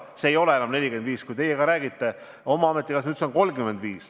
See ei ole enam 45%, see on 35%.